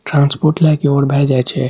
Transport लाय के इमहर भाय जाय छै।